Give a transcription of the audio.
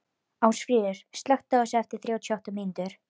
Ásfríður, slökktu á þessu eftir þrjátíu og átta mínútur.